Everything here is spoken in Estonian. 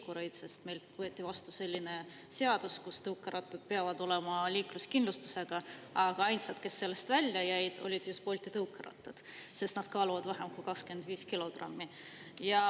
Meil võeti vastu selline seadus, et tõukeratastel peab olema liikluskindlustus, aga ainsad, kes sellest välja jäid, olid Bolti tõukerattad, sest nad kaaluvad vähem kui 25 kilogrammi.